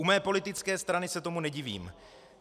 U mé politické strany se tomu nedivím.